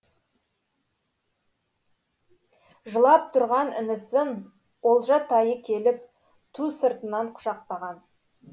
жылап тұрған інісін олжатайы келіп ту сыртынан құшақтаған